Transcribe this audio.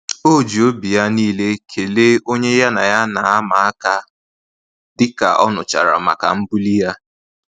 O ji obi ya niile kelee onye ya na ya na ama-aka, dịka ọ nụchara maka mbuli ya